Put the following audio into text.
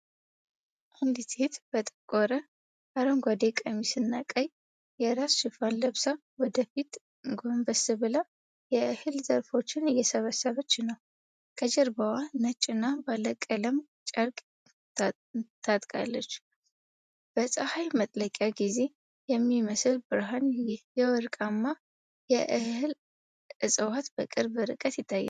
አንዲት ሴት በጠቆረ አረንጓዴ ቀሚስና ቀይ የራስ ሸፋን ለብሳ፣ ወደ ፊት ጎንበስ ብላ የእህል ዘሮችን እየሰበሰበች ነው። ከጀርባዋ ነጭ እና ባለቀለም ጨርቅ ታጥቃለች። በጸሐይ መጥለቂያ ጊዜ በሚመስል ብርሃን፣ የወርቃማ የእህል እጽዋት በቅርብ ርቀት ይታያሉ።